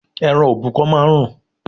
Ẹran òbúkọ máa ń rùn